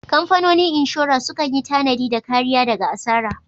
Kamfanonin inshora sukan yi tanadi da kariya daga asara.